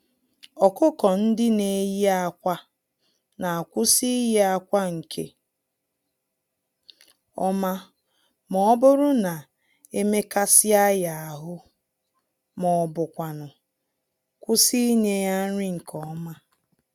ọkụkọ-ndị-neyi-ákwà n'akwụsị iyi-akwa nke ọma mọbụrụ na emekasịa ha ahụ, m'ọbu kwanụ kwụsị ịnye ha nri nke ọma